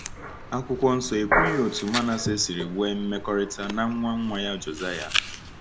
Akwụkwọ Nsọ ekwughị otú Manasseh siri nwee mmekọrịta na nwa nwa ya Josiah.